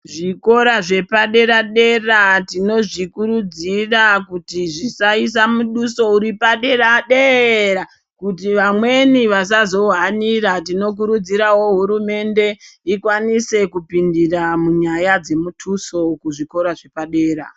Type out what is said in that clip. Zvikora zvepadera dera tinozvikurudzira kuti zvisaisa muduso uri padera de-era kuti vamweni vasazouhanira tinokurudzirawo hurumende tikwanise kupindira munyaya yemudutso kuzvikora zvepadera.